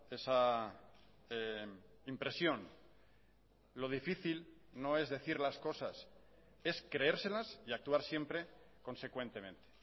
esa impresión lo difícil no es decir las cosas es creérselas y actuar siempre consecuentemente